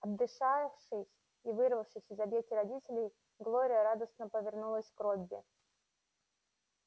отдышавшись и вырвавшись из объятий родителей глория радостно повернулась к робби